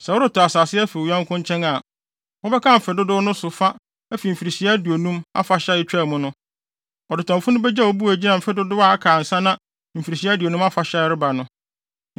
Sɛ woretɔ asase afi wo yɔnko nkyɛn a, mobɛkan mfe dodow no so fa afi Mfirihyia Aduonum Afahyɛ a etwaa mu no. Ɔdetɔnfo no begye wo bo a egyina mfe dodow a aka ansa na mfirihyia aduonum afahyɛ a ɛreba no.